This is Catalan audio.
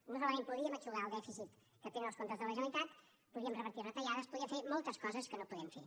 no solament podríem eixugar el dèficit que tenen els comptes de la generalitat podríem revertir retallades podríem fer moltes coses que no podem fer